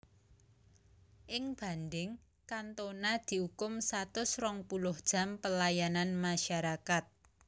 Ing bandhing Cantona diukum satus rong puluh jam pelayanan masyarakat